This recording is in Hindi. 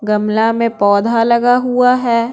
गमला में पौधा लगा हुआ है।